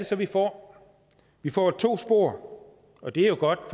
så vi får vi får to spor og det er jo godt